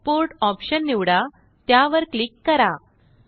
export option निवडा त्यावरक्लिक करा